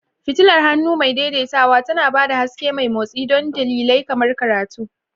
Fitilar hannu mai daidaitawa tana ba da haske mai motsi don dalilai kamar karatu.